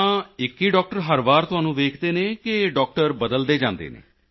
ਤਾਂ ਇੱਕ ਹੀ ਡਾਕਟਰ ਹਰ ਵਾਰ ਤੁਹਾਨੂੰ ਵੇਖਦੇ ਹਨ ਕਿ ਡਾਕਟਰ ਬਦਲਦੇ ਜਾਂਦੇ ਹਨ